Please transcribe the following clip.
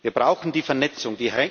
Wir brauchen die Vernetzung.